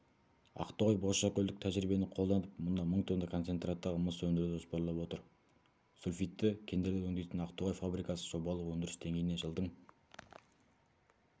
ақтоғай бозшакөлдік тәжірибені қолданып мұнда мың тонна концентраттағы мыс өндіруді жоспарлап отыр сульфидті кендерді өңдейтін ақтоғай фабрикасы жобалық өндіріс деңгейіне жылдың